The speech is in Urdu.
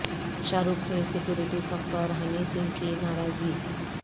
شاہ رخ کی سکیورٹی سخت اور ہنی سنگھ کی ناراضی